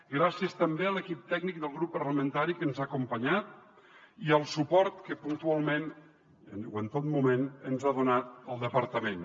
gràcies també a l’equip tècnic del grup parlamentari que ens ha acompanyat i al suport que puntualment o en tot moment ens ha donat el departament